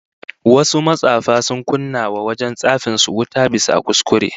Wasu matsafa sun kunna wa wajen tsafin su wuta bisa kuskure